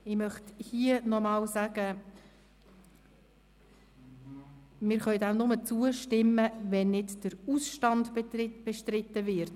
Ich möchte hier noch einmal sagen, dass wir dem nur zustimmen können, wenn der Ausstand nicht bestritten wird.